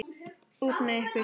Út með ykkur.